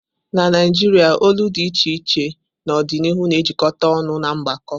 Na Naijiria olu dị iche iche n'ọdịnihu na-ejikọta ọnụ n'ọgbakọ.